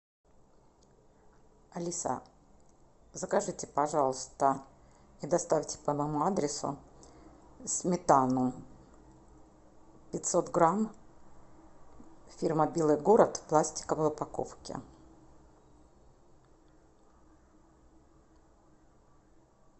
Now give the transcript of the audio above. алиса закажите пожалуйста и доставьте по моему адресу сметану пятьсот грамм фирма белый город в пластиковой упаковке